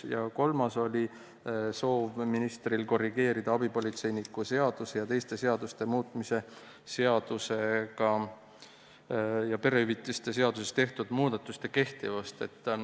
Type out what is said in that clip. Ministri kolmas soov oli korrigeerida abipolitseiniku seaduse ja teiste seaduste muutmise seadusega perehüvitiste seaduses tehtud muudatuste kehtivust.